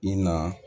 I na